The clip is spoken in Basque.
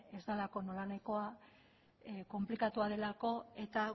ez delako nolanahikoa konplikatua delako eta